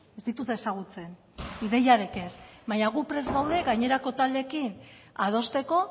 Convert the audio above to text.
ez ditut ezagutzen ideiarik ez baina gu prest gaude gainerako taldeekin adosteko